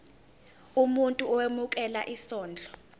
umuntu owemukela isondlo